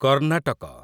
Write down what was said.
Karnataka